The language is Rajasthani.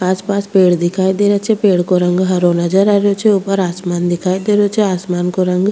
आस पास पेड़ दिखाई दे रा छे पेड़ को रंग हरो नजर आ रो छे ऊपर आसमान दिखाई दे रो छे आसमान को रंग --